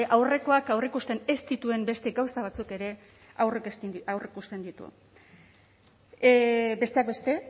aurrekoak aurreikusten ez dituen beste gauza batzuk ere aurreikusten ditu besteak beste